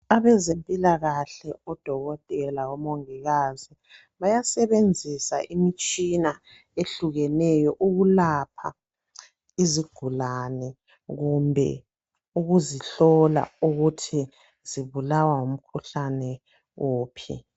Abezempilakahle, odokotela, omongikazi, bayasebenzisa imitshina ehlukeneyo ukulapha izigulane kumbe ukuzihlola ukuthi zibulawa ngumkhuhlane wuphi.